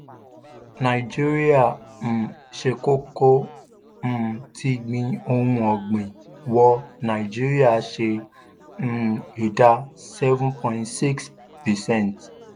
nàìjíríà um ṣe kókó um tí gbin ohun ọ̀gbìn wọ nigeria ṣe um ìdá seven point six percent.